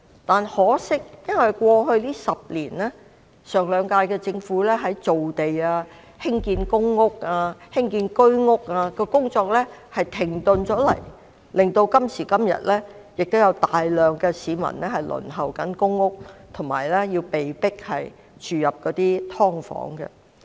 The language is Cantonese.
但可惜的是，過去10年，前兩屆政府造地及興建公屋和居屋的工作停滯不前，導致今時今日仍有大量市民輪候公屋，被迫住在"劏房"。